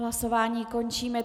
Hlasování končím.